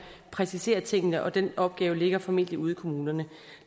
præciseret tingene og den opgave ligger formentlig ude i kommunerne